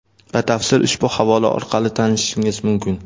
Batafsil ushbu havola orqali tanishishingiz mumkin.